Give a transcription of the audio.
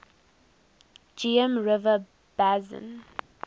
geum river basin